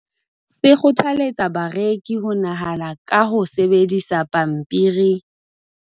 se kgothaletsa bareki ho nahana ka ho sebedisa pampiri